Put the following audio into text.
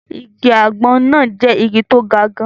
Igi àgbọn náà jẹ́ igi tí ó ga gan-an